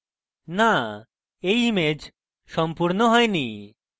no এই image সম্পূর্ণ হয়নি